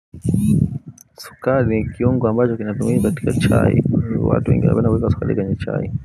Sukari ni kiungo ambacho kinatumika katika chai. Watu wengi wanapenda kuweka sukari kwenye chai.